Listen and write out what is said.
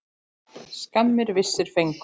Skammir vissir fengu.